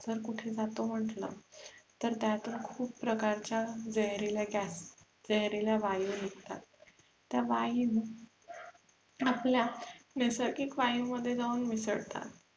जर कुठे जातो म्हटलं तर त्यातुन खुप प्रकारच्या जाहिरील्या Gas जहिरील्या वायु निघतात त्या वायु आपल्या नैसर्गिक वायु मध्ये जाऊन मिसळतात